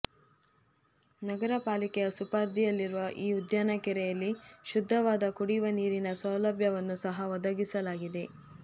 ನಗರಪಾಲಿಕೆಯ ಸುಪರ್ದಿಯಲ್ಲಿರುವ ಈ ಉದ್ಯಾನ ಕೆರೆಯಲ್ಲಿ ಶುದ್ಧವಾದ ಕುಡಿಯುವ ನೀರಿನ ಸೌಲಭ್ಯವನ್ನೂ ಸಹ ಒದಗಿಸಲಾಗಿದೆ